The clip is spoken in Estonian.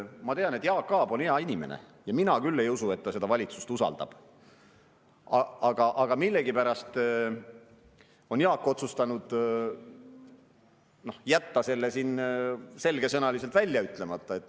Ma tean, et Jaak Aab on hea inimene, ja mina küll ei usu, et ta seda valitsust usaldab, aga millegipärast on Jaak otsustanud jätta selle siin selgesõnaliselt välja ütlemata.